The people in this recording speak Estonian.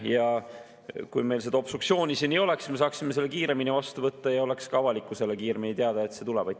Ja kui meil seda obstruktsiooni siin ei oleks, siis me saaksime selle kiiremini vastu võtta ja oleks ka avalikkusele kiiremini teada, et see tuleb.